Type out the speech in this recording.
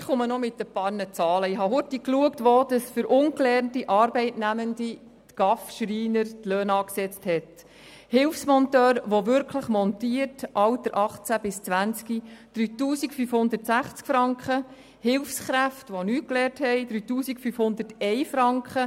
Ich habe rasch nachgeschaut, wo für ungelernte Arbeitnehmende der GAV der Schreiner die Löhne angesetzt hat: für einen Hilfsmonteur, Alter 18 bis 20, der wirklich montiert, sind es 3560 Franken, für ungelernte Hilfskräfte 3501 Franken.